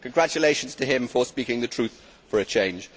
Congratulations to him for speaking the truth for a change.